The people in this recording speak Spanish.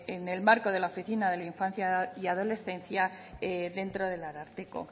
en el marco de la oficina de la infancia y la adolescencia dentro del ararteko